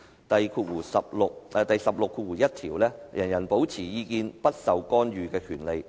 "第十六條第一款訂明："人人有保持意見不受干預之權利。